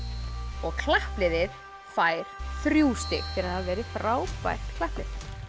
og klappliðið fær þrjú stig fyrir að hafa verið frábært klapplið